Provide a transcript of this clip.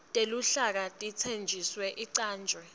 teluhlaka itheksthi icanjwe